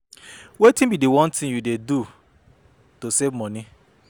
Wetin be di one thing you dey do to save money?